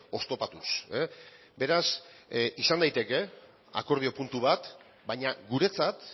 oztopatuz beraz izan daiteke akordio puntu bat baina guretzat